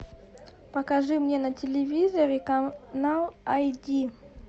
покажи мне на телевизоре канал ай ди